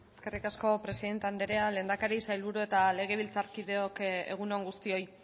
eskerrik asko presidente andrea lehendakari sailburu eta legebiltzarkideok egun on guztioi